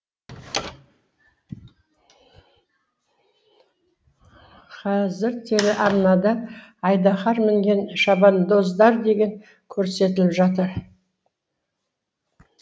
қазір телеарнада айдаһар мінген шабандоздар деген көрсетіліп жатыр